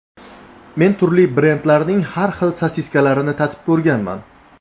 Men turli brendlarning har xil sosiskalarini tatib ko‘rganman.